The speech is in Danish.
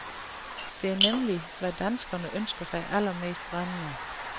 Det er nemlig, hvad danskerne ønsker sig allermest brændende.